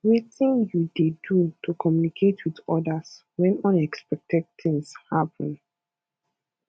wetin you dey do to communicate with odas when unexpected things happen